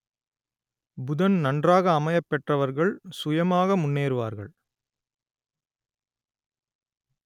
புதன் நன்றாக அமையப் பெற்றவர்கள் சுயமாக முன்னேறுவார்கள்